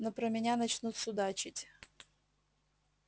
но про меня начнут судачить